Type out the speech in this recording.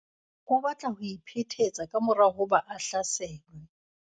o batla ho iphetetsa ka mora hoba a hlaselwe